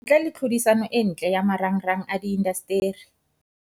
Ntle le tlhodisano e ntle ya marangrang a diindasteri.